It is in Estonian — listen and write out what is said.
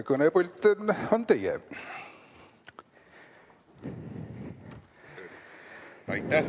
Kõnepult on teie.